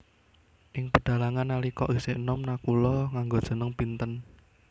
Ing pedhalangan nalika isih enom Nakula nganggo jeneng Pinten